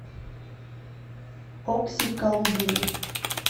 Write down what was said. окси калугиной